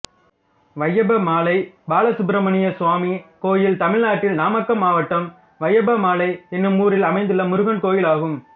வையப்பமலை பாலசுப்பிரமணியசுவாமி கோயில் தமிழ்நாட்டில் நாமக்கல் மாவட்டம் வையப்பமலை என்னும் ஊரில் அமைந்துள்ள முருகன் கோயிலாகும்